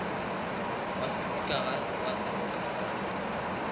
wa sepikara wa seboka sa